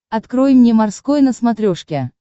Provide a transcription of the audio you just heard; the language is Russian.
открой мне морской на смотрешке